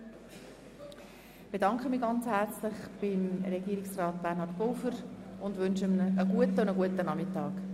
Ich bedanke mich bei Regierungspräsident Pulver und wünsche ihm einen guten Appetit und einen schönen Nachmittag.